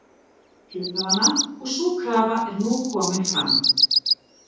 hluthafanna og sú krafa er nú komin fram.